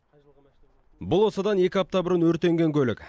бұл осыдан екі апта бұрын өртеген көлік